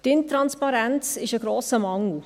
Die Intransparenz ist ein grosser Mangel.